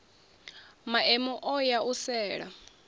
maemu o ya u sela